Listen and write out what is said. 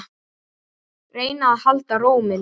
Reyna að halda ró minni.